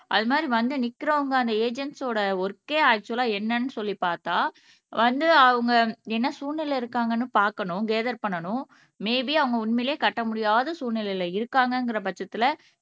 அது மாதிரி வந்து நிக்கிறவங்க அந்த ஏஜெண்ட்ஸோட ஒர்கே ஆக்சுவலா என்னன்னு சொல்லி பார்த்தா வந்து அவங்க என்னா சூழ்நிலையில இருக்காங்கன்னு பார்க்கணும் கெதர் பண்ணணும் மேபி அவங்க உண்மையிலேயே கட்ட முடியாத சூழ்நிலையில இருக்காங்கங்கிற பட்சத்துல